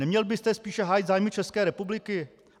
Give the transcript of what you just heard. Neměl byste spíše hájit zájmy České republiky?